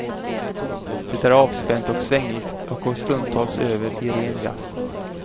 Det är avspänt och svängigt och går stundtals över i ren jazz.